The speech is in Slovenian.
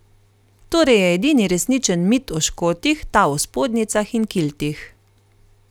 Torej je edini resničen mit o Škotih ta o spodnjicah in kiltih.